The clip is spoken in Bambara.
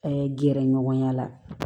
gɛrɛɲɔgɔnya la